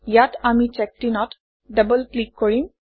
ইয়াত আমি ChekedIn অত ডবল ক্লিক কৰিম